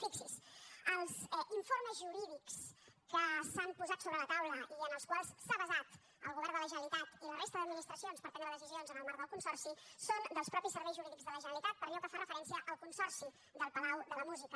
fixi’s els informes jurídics que s’han posat sobre la taula i en els quals s’ha basat el govern de la generalitat i la resta d’administracions per prendre decisions en el marc del consorci són dels mateixos serveis jurídics de la generalitat per allò que fa referència al consorci del palau de la música